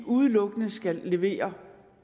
udelukkende skal levere et